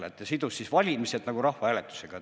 Nii et ta sidus valimised rahvahääletusega.